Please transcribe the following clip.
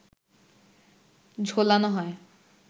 ঝোলানো হয়